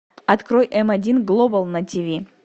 открой м один глобал на тиви